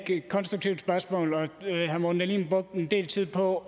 et konstruktivt spørgsmål herre morten dahlin brugte en del tid på